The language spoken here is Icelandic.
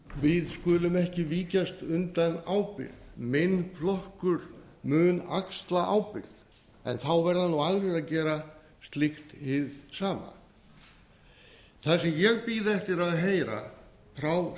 við skulum ekki víkjast undan ábyrgð minn flokkur mun axla ábyrgð en þá verða aðrir að gera slíkt hið sama það sem ég bíð eftir að heyra frá